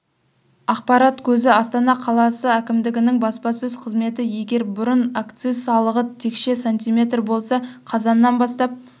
ақпарат көзі астана қаласы әкімдігінің баспасөз қызметі егер бұрын акциз салығы текше см болса қазаннан бастап